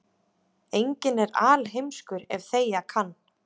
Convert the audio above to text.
Enginn er alheimskur ef þegja kann.